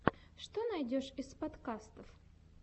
что найдешь из подкастов